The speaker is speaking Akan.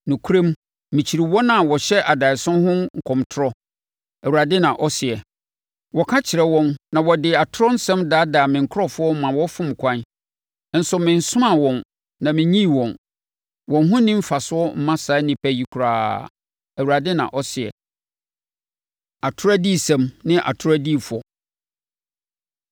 Nokorɛm, mekyi wɔn a wɔhyɛ adaeɛso ho nkɔmtorɔ,” Awurade na ɔseɛ. “Wɔka kyerɛ wɔn na wɔde atorɔ nsɛm daadaa me nkurɔfoɔ ma wɔfom ɛkwan, nso mensomaa wɔn na mennyii wɔn. Wɔn ho nni mfasoɔ mma saa nnipa yi koraa,” Awurade na ɔseɛ. Atorɔ Adiyisɛm Ne Atorɔ Adiyifoɔ